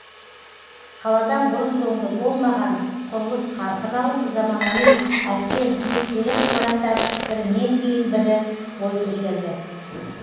қалада бұрын соңды болмаған құрылыс қарқын алып заманауи әсем еңселі ғимараттар бірінен кейін бой көтерді